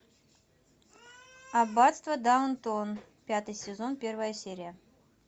аббатство даунтон пятый сезон первая серия